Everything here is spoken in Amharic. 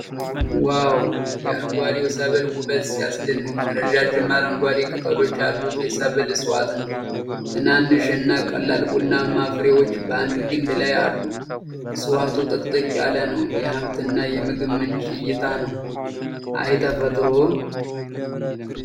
ዋው! የአረንጓዴው ሰብል ውበት ሲያስደንቅ! ረዣዥም አረንጓዴ ቅጠሎች ያሉት የሰብል እጽዋት ነው። ትናንሽ እና ቀላል ቡናማ ፍሬዎች በአንድ ግንድ ላይ አሉ። እፅዋቱ ጥቅጥቅ ያለ ነው። የሀብትና የምግብ ምንጭ እይታ ነው። አይ ተፈጥሮ!!!!!